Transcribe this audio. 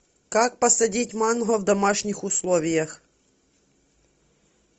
как посадить манго в домашних условиях